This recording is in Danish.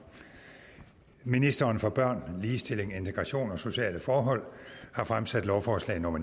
ministeren for børn ligestilling integration og sociale forhold lovforslag nummer